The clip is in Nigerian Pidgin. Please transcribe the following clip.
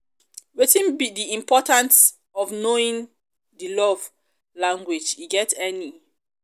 wetin be di importance of knowing di love um language e get any? um